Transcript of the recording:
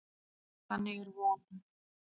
Þannig að það er von.